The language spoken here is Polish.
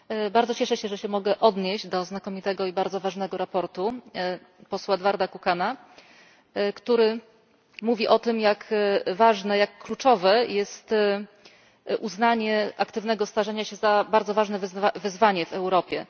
Bardzo cieszę się, że mogę się odnieść do znakomitego i bardzo ważnego sprawozdania posła Eduarda Kukana, w którym mówi się o tym, jak ważne, jak kluczowe jest uznanie aktywnego starzenia się za bardzo ważne wyzwanie w Europie.